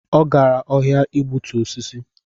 Ọ gara ọhịa igbutu osisi?